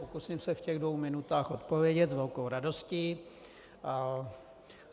Pokusím se v těch dvou minutách odpovědět s velkou radostí.